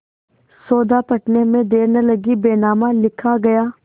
सौदा पटने में देर न लगी बैनामा लिखा गया